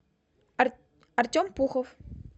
артем пухов